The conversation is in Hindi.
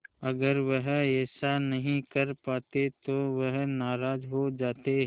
अगर वह ऐसा नहीं कर पाते तो वह नाराज़ हो जाते